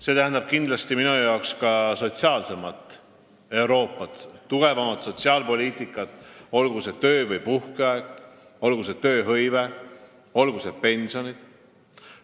See tähendab kindlasti ka sotsiaalsemat Euroopat, tugevamat sotsiaalpoliitikat, olgu tegu töö- või puhkeajaga, olgu tegu tööhõive või pensionidega.